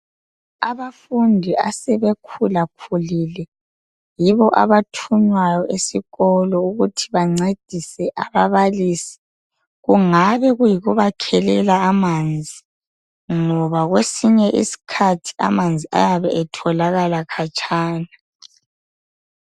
Abafundi asebekhula khulile yibo abathunywayo esikolo ukuthi bancedise ababalisi. Kungabe kuyikubakhelela amanzi ngoba kwesinye isikhathi amanzi ayabe etholakala khatshana.